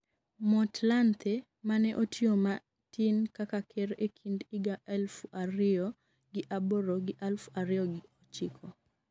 Motlanthe mane otiyo matin kaka ker e kind higa aluf ariyo gi aboro gi aluf ariyo gochiko